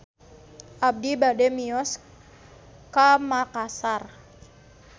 Abi bade mios ka Makassar